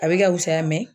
A bɛ ka wusaya